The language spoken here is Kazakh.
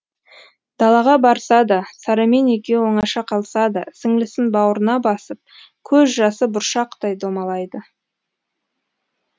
далаға барса да сарамен екеуі оңаша қалса да сіңлісін бауырына басып көз жасы бұршақтай домалайды